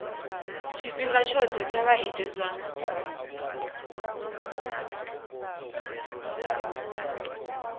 tshifhinga tshoṱhe vha ite zwa